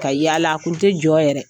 Ka yaala a kun tɛ jɔ yɛrɛ.